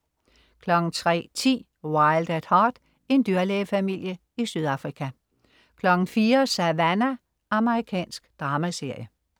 03.10 Wild at Heart. En dyrlægefamilie i Sydafrika 04.00 Savannah. Amerikansk dramaserie